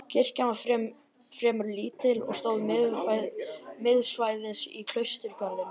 Kirkjan var fremur lítil og stóð miðsvæðis í klausturgarðinum.